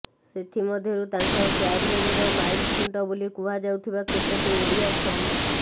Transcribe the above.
ସେଥିମଧ୍ୟରୁ ତାଙ୍କ କ୍ୟାରିଅରର ମାଇଲ୍ ଖୁଣ୍ଟ ବୋଲି କୁହାଯାଉଥିବା କେତୋଟି ଓଡ଼ିଆ ଛବି